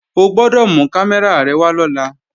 O gbọ́dọ̀ mú kámẹ́rà rẹ wá lọ́la!